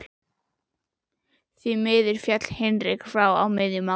Því miður féll Hinrik frá á miðjum aldri.